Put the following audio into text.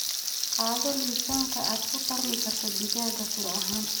Qaado liisanka aad ku tarmi karto digaagga tiro ahaan.